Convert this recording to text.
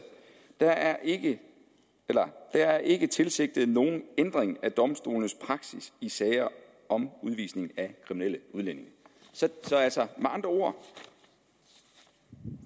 der er ikke er ikke tilsigtet nogen ændring af domstolenes praksis i sager om udvisning af kriminelle udlændinge med andre ord